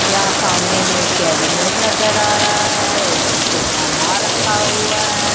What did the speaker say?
यहां सामने में कैबिनेट नजर आ रहा है। उसमें कोई सामान रखा हुआ है।